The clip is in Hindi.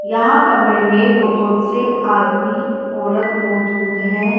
यहाँ कमरे में बहोत से आदमी औरत मौजूद है।